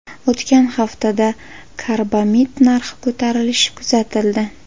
O‘tgan haftada karbamid narxi ko‘tarilishi kuzatildi .